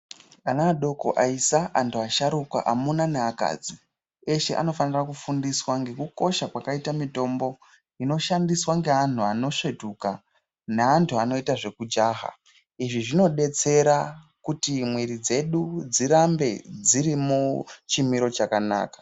Ana adoko aisa, antu asharuka ,amuna neakadzi eshe anofanira kufundiswa ngekukosha kwakaita mitombo inoshandiswa ngeanhu anosvetuka neantu anoita zvekujaha, izvi zvinodetsera kuti mwiri dzedu dzirambe dziri muchimiro chakanaka.